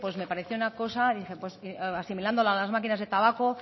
me pareció una cosa asimilándolo a las máquinas de tabaco